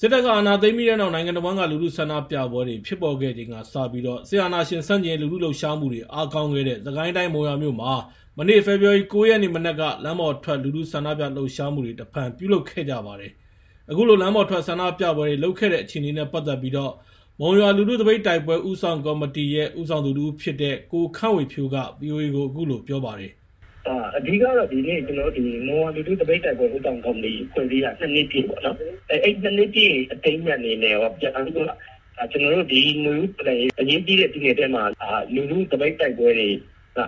စစ္တပ္က အာဏာသိမ်းပြီးတဲ့နောက် နိုင်ငံတဝန်းလူထုဆန္ဒျပပဲြတြေ ျဖစ်ပေါ်ခဲ့ခိန္ကစပြီး စစ်အာဏာရွင္ဆန့်က်င်ရေး လူထုလှုပ်ရွားမှုတြေ အားကောင်းခဲ့တဲ့ စစ္ကိုင်းတိုင်း မုံရြာမြို့မွာ ေဖေဖာ်ဝါရီ ၉ ရက်နေ့ မနက္က လမ်းပေါ်ထြက် လူထုဆန္ဒျပလှုပ်ရွားမှုတြေ တဖန်ျပုလုပ္ခဲ့ ကြပါတယ်။ အခုလို လမ်းပေါ်ထြက္ဆန္ဒျပပဲြတြေလုပ္ခဲ့တဲ့အျေခအေနနဲ့ ပတ်သက်ပြီး မုံရြာလူထုသပိတ္တိုက္ပဲြဦးဆောင်က္မောတီ ဦးဆောင်သူ တဦး ျဖစ္တဲ့ ကိုခန့်ဝေဖြိုးက ဗီအိုအေကို အခုလို ေျပာပါတယ်။ " အဓိကေတာ့ ဒီနေ့ဟာ က်န္တောို့ မုံရြာလူထုသပိတ္တိုက္ပြဲ ဦးဆောင်က္မောတီ ဖြဲ့စည်းတာ ၂ နွစ်ျပည့်ပေါ့နော်။ အဲဒီ ၂ နွစ်ျပည့် အထိမ်းအမွတေ်အနနဲ့ရော နောက်ပြီး ဒီနြေဦးတ္လောွန်ရေး အေရးကြီးတဲ့ကာလမွာ လူထုသပိတ္တိုက္ပြဲတြေ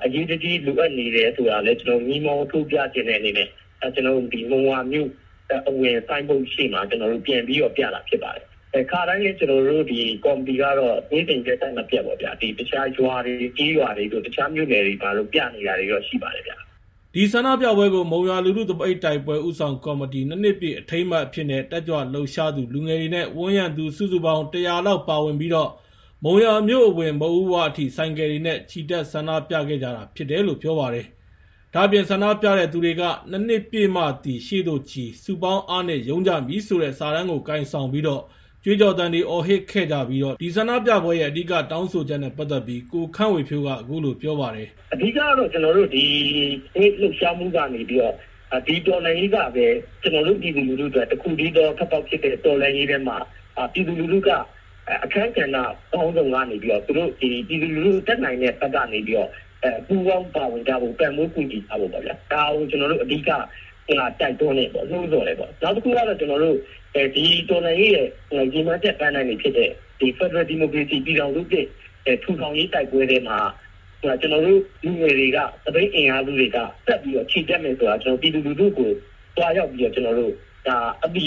အေရးတကြီးလိုအပ်နေတယ္ဆိုတာကိုလည်း မီးမောင်းထိုးျပခ်င္တဲ့ အေနနဲ့ က်န္တောို့ မုံရြာမြို့အဝင် ဆိုင်းဘုတ်ကြီးရွေ့မွာ ခုလိုဆန္ဒျပန်ျပကြတာ ျဖစ္ပါတယ်။ ခါတိုင်းလည်း က်န္တောို့ ဒီက္မောတီကေတာ့ နေ့စဉ်ရက္ဆက် မျပတ်ပေါ့ဗ်ာ ရြာတြေ ကေ်းရြာတြေ အျခားမြို့နယ်တြေမွာ ဒီဆန္ဒျပပဲကြို မုံရြာလူထုသပ္တိ္တိုက္ပဲြဦးဆောင်က္မောတီ ၂ နွစ်ျပည့်အထိမ်းအမွတ်အျဖစ္နဲ့ တက်ြကြလှုပ်ရွားသူ လူငယ်တြေနဲ့ ဝန်းရံသူ စုစုပေါင်း ၁၀၀ လောက် ပါဝင်ပြီး၊ မုံရြာမြို့အဝင် မုခ်ဦးဝအထိ ဆိုင္ကယ်တြေနဲ့ ခ်ီတက္ဆန္ဒျပခဲ့ကြတာ ျဖစ္တယ္လို့ ေျပာပါတယ်။ ဒါ့အျပင် ဆန္ဒျပတဲ့သူတြေက “၂ နွစ်ျပည့်မွသည်ရွေ့သိုခ်ီ၊ စုပေါင်းအားနွင့်ရုန်းကြမည္ဆိုတဲ့ စာတမ်းကို ကိုင်ဆောင်ပြီးတော့ ေြကြးကြော်သံတြေ အော်ဟစ္ခဲ့ကြပြီး ဒီဆန္ဒျပပဲြကေန အဓိက တောင်းဆိုခ်က္နဲ့ပတ်သက်ပြီး ကိုခန့်ဝေဖြိုးက အခုလို ေျပာပါတယ်။ " အဓိကေတာ့ က်န္တောို့ ဒီ လူထုလှုပ်ရွားမှုကေနပြီးတော့ ၊ ဒီတ္လောွန်ရေးကပဲ က်န္တောို့ ျပည်သူလူထုအတြက် တခုတည်းသော ထြက်ပေါက်ျဖစ္တဲ့ တ္လောွန်ရေးထဲမွာ ျပည်သူလူထုက အခန်းကဏ္ဍ ပေါင်းစုံကေန ျပည်သူတြေ တတ်နိုင္တဲ့ဘက္ကေန ပူးပေါင်းပါဝင်ကြဖို့ ၊ ပံ့ပိုးကူညီကြဖို့ကို က်န္တောို့ အဓိက တိုက္တြန်းတယ်ပေါ့။ နောက္တခုက ဒီတ္လောွန်ရေးရဲ့ ရည္မွန်းခ်က် ပန်းတိုင်ျဖစ္တဲ့ ဖက္ဒရယ္ဒီမိုကေရစီ ျပည်ထောင္စုသစ် ထူထောင်ရေး တိုက္ပြဲထဲမွာ က်န္တောို့လူငယ်တြေက သပိတ်အင်အားစုတြေက ဆက်ပြီးတော့ ခ်ီတက်နေတယ္ဆိုတာ ျပည်သူလူထုကို သြားရောက်အသိ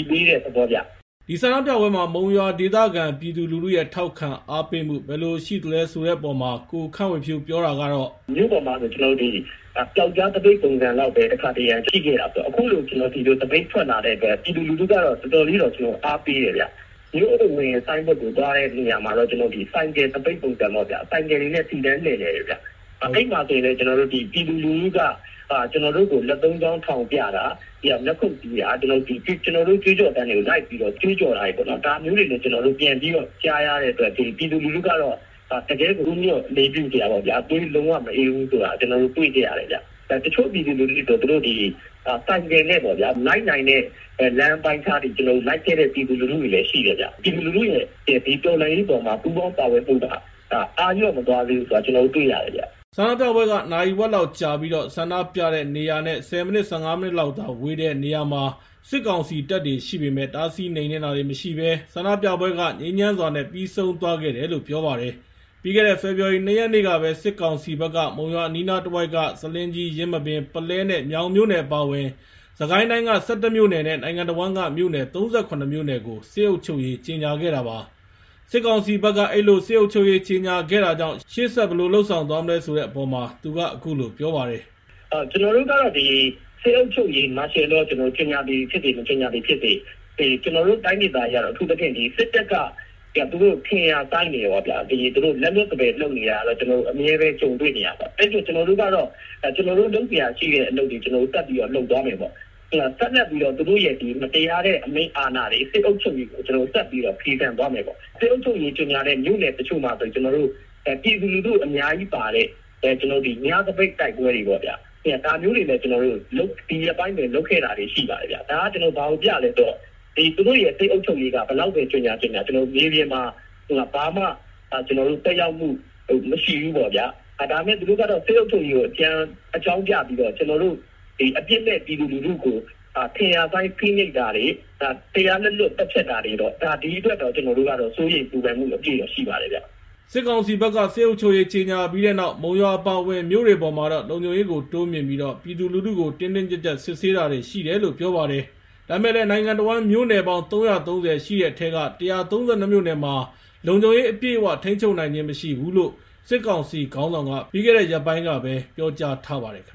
ပေးတဲ့သေဘာပါဗ်။ " ဒီဆန္ဒျပပဲမြွာ မုံရြာဒေသခံ ျပည်သူလူထုရဲ့ ထောက္ခံအားပေးမှု ဘယ္လိုရွိသလဲဆိုတဲ့အေပါ်မွာတော့ ကိုခန့်ဝေဖြိုးက ေျပာတာကေတာ့ - " မြို့ပေါ်မွာဆိုရင် ေျပာက္က်ားသပိတ် ပုံစံလောက္ပဲ တခါတရံ ရွိခဲ့တာပေါ့။ အခုလို ဒီလိုသပိတ် ထြက္လာတဲ့အတြက် ျပည်သူလူထုက တော်တော်လေး အားပေးတယ္ဗ်။ မြို့အဝင် ဆိုင်းဘုတ္ကို သြားတဲ့နေရာမွာတော့ ဆိုင္ကယ်သပိတ္ပုံစံပေါ့၊ ဆိုင္ကယ်တြေနဲ့ စီတန်းလွည့်လည္တယ်။ အဲဒီမွာဆိုရင္လည်း ျပည်သူလူထုက က်န္တောို့ကို လက်သုံးခေ်ာင်း ထောင်ျပတာ၊ လက္ခုတ္တီးတာ ေြကြးကြော်သံတြေကို က်န္တောို့နဲ့အတူ ေြကြးက္တြောာေတြေပ့ါနော် ဒါမိုးတြေ က်န္တောို့ ျပန်ကြားရတဲ့အတြက် ျပည်သူကေတာ့ တကယ့်ဦးညွှတ် အေလးျပုစရာပါပဲ။ လုံးဝ သြေး မေအးဘူးဆိုတာ တြေ့ခဲ့ရတယ္ဗ်။ တခို့ဆိုရင္လည်း သူတို့ဆိုင္ကယ်တြေနဲ့ လိုက်နိုင္တဲ့လမ်းအပိုင်းအျခားထိ လိုက္ခဲ့တာမိုးလည်း ရွိတယ်။ လူထုရဲ့ တ္လောွန်ရေးအေပါ် ပူးပေါင်းပါဝင္မှုက အားလေ်ာ့ မသြားသေးဘူးဆိုတာ က်န္တောို့ တြေ့ရတယ္ဗ်။ " ဆန္ဒျပပဲကြ နာရီဝက်လောက်ကြာပြီး၊ ဆန္ဒျပတဲ့နေရာနဲ့ ၁၀ မိနစ် ၊ ၁၅ မိနစ်လောက်သာဝေးတဲ့ စစ်ကောင္စီတပ်တြေရွိပေမယ့် တားဆီးနွိမ်နွင်းတာတြေမရွိဘဲ ဆန္ဒျပပဲကြ ငြိမ်းခ်မ်းစြာနဲ့ ပြီးဆုံးသြားခဲ့တယ္လို့ ေျပာပါတယ်။ ပြီးခဲ့တဲ့ ေဖေဖာ်ဝါရီလ ၂ ရက်နေ့ကပဲ စစ်ကောင္စီဘက္က မုံရြာအနီးနားတဝိုက္က ဆာလင်းကြီး၊ ယင်းမာပင်၊ ပုလဲ နဲ့ ေျမာင်မြို့နယ်အပါအဝင် စစ္ကိုင်းတိုင်းက ၁၁ မြို့နယ္နဲ့ နိုင်ငံတဝန်းက မြို့နယ် ၃၇ မြို့နယ္ကို စစ်အုပ္ခ်ုပ်ရေး ကြေညာခဲ့တာပါ။ စစ်ကောင္စီဘက် အဲဒီလို စစ်အုပ္ခ်ုပ်ရေး ကြေညာထားတာကြောင့် ရွေ့ဆက္ဘယ္လိုဆက္လုြပ်သားမလဲဆိုတဲ့အေပါ်မွာတော့ သူက အခုလို ေျပာပါတယ်။ " က်န္တောို့ကေတာ့ စစ်အုပ္ခ်ုပ်ရေး မာရွယ်လော ကြေညာသည်ျဖစ်စေ မေကြညာသည်ျဖစ်စေ.. က်န္တောို့တိုင်းျပည္မွာက အထူးသျဖင့် စစ္တပ္က သူတို့ ထင်ရာစိုင်းတာ ၊ လက္လြတ္စပယ္လုပ္တာတြေကို က်န္တောို့ အျမဲပဲ ကြုံတြေ့နေရပါတယ်။ အဲဒီတော့ က်န္တောို့ လုပ္စရာရွိတဲ့အလုပ်တြေကို က်န္တောို့ ဆက္လုြပ်သားမယ်ပေါ့။ သူတို့ရဲ့ မတရားတဲ့ အမိန့်အာဏာတြေ စစ်အုပ္ခ်ုပ်ရေးကို က်န္တောို့ ဆက်ပြီး ဖီဆြန်သားမယ်ပေါ့။ စစ်အုပ္ခ်ုပ်ရေး ကြေညာတဲ့ မြို့နယ္တခို့မွာဆိုရင် ျပည်သူလူထု အမ်ားကြီးပါတဲ့ ညသပိတ္တိုက္ပြဲ ေတြေပ့ါ ၊ ဒါမိုးတြေလည်း ဒီရက္ပိုင်းအတြင်း က်န္တောို့ လုပ္ခဲ့တာတြေ ရွိပါတယ္ဗ်။ သူတို့က စစ်အုပ္ခ်ုပ်ရေး ဘယ်လောက္ပဲ ကြေညာ ကြေညာ ေျမျပင္မွာ ဘာမွ သက်ရောက္မှု မရွိဘူးဆိုတာကို ျပေနပါတယ်။ ဒါပေမဲ့ သူတို့က စစ်အုပ္ခ်ုပ်ရေးကို အေကြာင်းျပပြီးတော့ အျပစ္မဲ့ျပည်သူလူထုကို ထင်ရာစိုင်း ဖိနွိပ္တာတြေ တရားလက္လြတ် သတ်ျဖတ္တာတြေ.. ဒီအတြက်တော့ က်န္တောို့ စိုးရိမ္ပူပန္မှု ရွိပါတယ်။ " စစ်ကောင္စီဘက္က စစ်အုပ္ခ်ုပ်ရေးကြေညာပြီးတဲ့နောက် မုံရြာ အပါအဝင် မြိုေတြေပါ်မွာတော့ လုံခြုံရေးကို တိုးျမွင့်ပြီး ျပည်သူလူထုကို တင်းတင်းကြပ်ကြပ္စစ်ဆေးတာေတြေတာ့ ရွိတယ္လို့ ေျပာပါတယ်။ ဒါပေမဲ့လည်း နိုင်ငံတဝန်း မြို့နယ်ပေါင်း ၃၃၀ ရွိတဲ့အထဲက ၁၃၂ မြို့နယ္မွာတော့ လုံခြုံရေးအရအျပည့်အ၀ ထိန်းခ်ုပ်နိုင်ျခင်းမရွိဘူးလို့ စစ်ကောင္စီခေါင်းဆောင္က ပြီးခဲ့တဲ့ ရက္ပိုင်းကပဲ ေျပာကြားထားပါတယ္ခင္